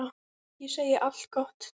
Ég segi allt gott.